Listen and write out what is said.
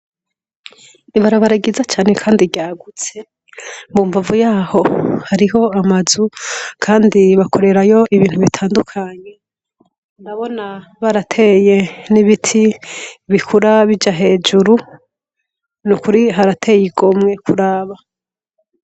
Ibarabaragiza cane, kandi ryagutse mbumvavu yaho hariho amazu, kandi bakorerayo ibintu bitandukanyi ndabona barateye n'ibiti bikurabija hejuru ni ukuri harateye igomwe kuraba.